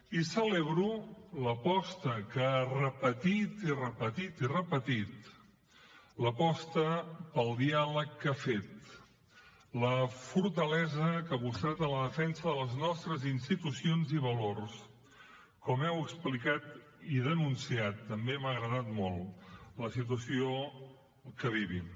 i celebro l’aposta que ha repetit i repetit i repetit l’aposta pel diàleg que ha fet la fortalesa que ha mostrat en la defensa de les nostres institucions i valors com heu explicat i denunciat també m’ha agradat molt la situació que vivim